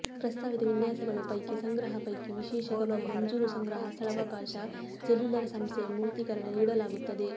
ಪ್ರಸ್ತಾವಿತ ವಿನ್ಯಾಸಗಳು ಪೈಕಿ ಸಂಗ್ರಹ ಪೈಕಿ ವಿಶೇಷ ಗಮನ ಮಂಜೂರು ಸಂಗ್ರಹ ಸ್ಥಳಾವಕಾಶ ಸೆಲ್ಯುಲರ್ ಸಂಸ್ಥೆಯ ಮೂರ್ತೀಕರಣ ನೀಡಲಾಗುತ್ತದೆ